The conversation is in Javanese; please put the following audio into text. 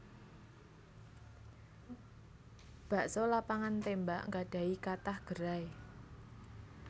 Bakso Lapangan Tembak nggadhahi kathah gerai